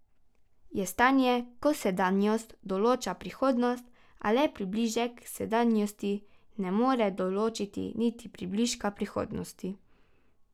Je stanje, ko sedanjost določa prihodnost, a le približek sedanjosti ne more določiti niti približka prihodnosti.